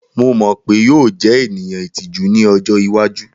Mo mọ pe yoo jẹ eniyan itiju ni ọjọ iwaju.